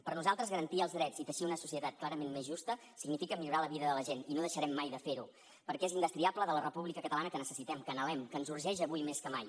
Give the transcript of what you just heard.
per nosaltres garantir els drets i teixir una societat clarament més justa significa millorar la vida de la gent i no deixarem mai de fer ho perquè és indestriable de la república catalana que necessitem que anhelem que ens urgeix avui més que mai